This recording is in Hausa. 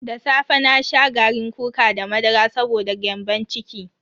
Da safe na sha garin kuka da madara saboda gyambon ciki.